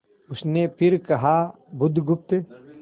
उसने फिर कर कहा बुधगुप्त